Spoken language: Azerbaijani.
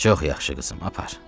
Çox yaxşı, qızım, apar.